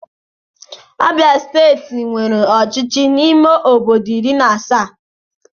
Abịa steeti nwere ọchịchị ime obodo iri na asaa